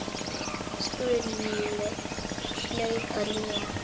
Skúli hlaut að ljúga.